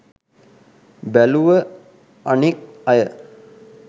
බැලුව අනෙක් අය